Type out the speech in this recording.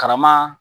Karama